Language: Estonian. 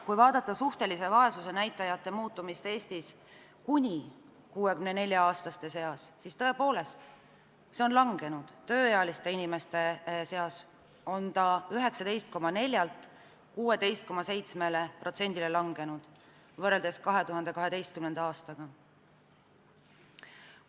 Kui vaadata suhtelise vaesuse näitaja muutumist Eestis kuni 64-aastaste seas, siis tõepoolest, see on langenud, tööealiste inimeste seas on see langenud 19,4%-lt 16,7%-le võrreldes 2012. aastaga.